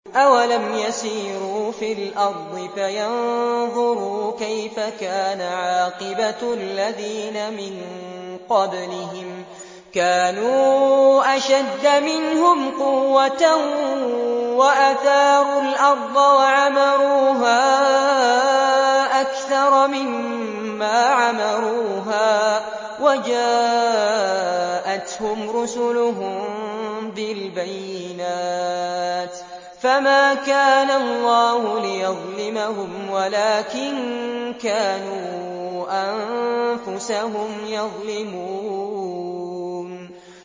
أَوَلَمْ يَسِيرُوا فِي الْأَرْضِ فَيَنظُرُوا كَيْفَ كَانَ عَاقِبَةُ الَّذِينَ مِن قَبْلِهِمْ ۚ كَانُوا أَشَدَّ مِنْهُمْ قُوَّةً وَأَثَارُوا الْأَرْضَ وَعَمَرُوهَا أَكْثَرَ مِمَّا عَمَرُوهَا وَجَاءَتْهُمْ رُسُلُهُم بِالْبَيِّنَاتِ ۖ فَمَا كَانَ اللَّهُ لِيَظْلِمَهُمْ وَلَٰكِن كَانُوا أَنفُسَهُمْ يَظْلِمُونَ